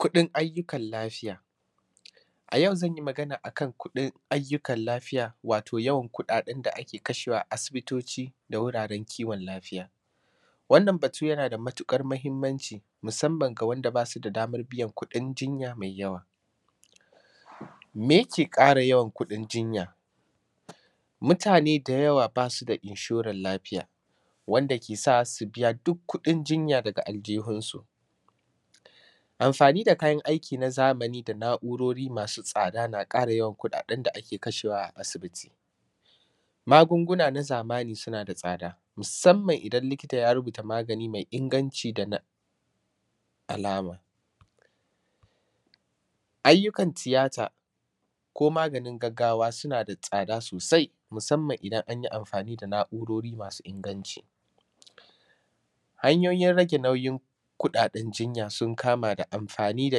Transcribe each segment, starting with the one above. kuɗin ayyukan lafiya. A yau zan yi magana a kan kuɗin ayyukan lafiya wato yawan kuɗaɗen da ake kashewa a asibitoci da wuraren kiwon lafiya. Wannan batu yana da matuƙar mahimmanci, musamman ga wanda ba su da daman biyar kuɗin jinya mai yawa.. Me yake ƙara yawan kuɗin jinya? Mutane da yawa ba su da inshoral lafiya wanda ke sa su biya duk kuɗin jinya daga aljuhunsu. Amfani da kayan aiki na zamani da na’urori masu tsada na ƙara yawan kuɗaɗen da ake kashewa a asibiti. Magunguna na zamani suna da tsada, musamman idan likita ya rubuta magani me inganci da na; alama. Ayyukan tiyata ko maganin gaggawa suna da tsada sosai musamman idan an yi amfani da na’urori masu inganci. Hanyoyin rage nauyin kuɗaɗen jinya sun kama da amfani da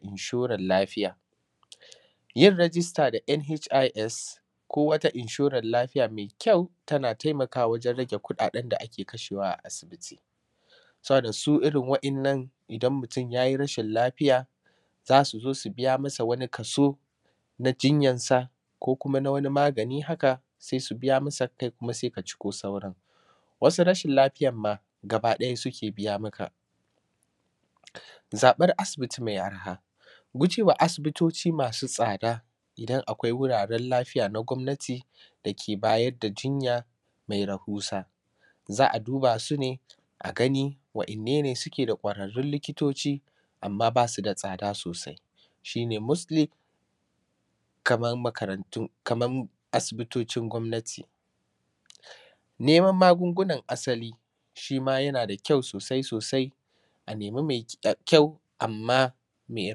inshoral lafiya, yin rajista na nhis, ko wata inshoral lafiya me kyau, tana temakawa wajen rage kuɗaɗen da ake kashewa a asibiti. Saboda su irin wa’innan idan mutum ya yi rashin lafiya, za su zo su biya masa wani kaso na jinyansa ko kuma na wani magani haka, sai su biya masa kai kuma se ka ciko sauran. Wasu rashin lafiyan ma gabaɗaya suke biya maka. Zaƃar asibiti me arha, guje wa asibitoci masu tsada, idan akwai wuraren lafiya na gwamnati, da ke bayar da jinya me rahusa, za a duba su ne a gani wa’inne ne suke da ƙwararrun likitoci, amma ba su da tsada sosai, shi ne mostly, kamam makarantun; kamam asibitocin gwamnati. Neman magungunan asali, shi ma yana da kyau sosai sosai, a nemi me eh; kyau, amma me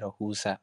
rahusa.